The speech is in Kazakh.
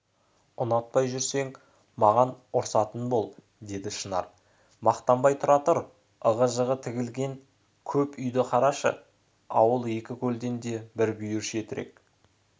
ұнатпай жүрсең маған ұрсатын бол деді шынар мақтанбай тұра тұр ығы-жығы тігілген кеп үйлі қараша ауыл екі көлден де бір бүйір шетірек